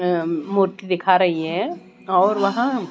अह मूर्ति दिखा रही हैं और वहां--